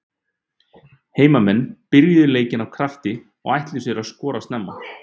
Heimamenn byrjuðu leikinn af krafti og ætluðu sér að skora snemma.